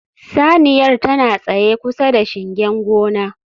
Saniyar tana tsaye kusa da shingen gona